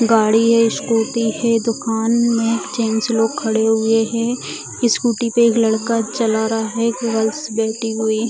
गाड़ी है स्कूटी है दुकान में एक जेंट्स लोग खड़े हुए हैं स्कूटी पे एक लड़का चला रहा है एक गर्ल्स बैठी हुई --